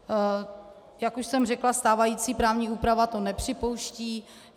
Jak už jsem řekla, stávající právní úprava to nepřipouští.